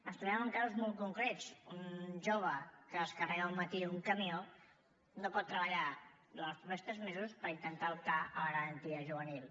ens trobem amb casos molt concrets un jove que descarrega al matí un camió no pot treballar durant els propers tres mesos per intentar optar a la garantia juvenil